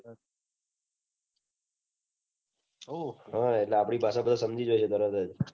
હ આપડી ભાષા માં સમજી જાઉં તો બરાબર